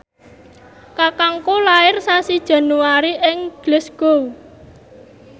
kakangku lair sasi Januari ing Glasgow